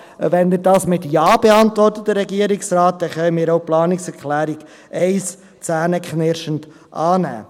Wenn der Regierungsrat diese mit Ja beantwortet, dann können wir auch die Planungserklärung 1 zähneknirschend annehmen.